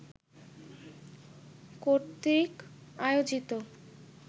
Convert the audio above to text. কর্তৃক আয়োজিত